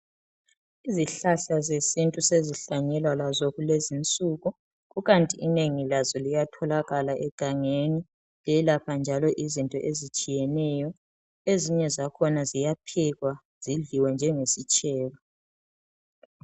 Izihlahla zesintu sezihlanyelwa lazo kulezinsuku kukanti inengi lazo liyatholakala egangeni, ziyelapha njalo izinto ezitshiyeneyo ezinye zakhona ziyaphekwa zidliwe njengesitshebo.